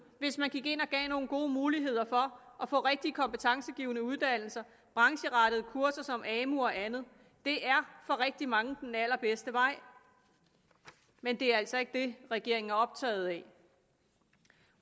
hvis man gik ind og gav nogle gode muligheder for at få rigtige kompetencegivende uddannelser brancherettede kurser som amu og andet det er for rigtig mange den allerbedste vej men det er altså ikke det regeringen er optaget af